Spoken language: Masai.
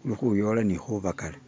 gulikuyola ni kubagala.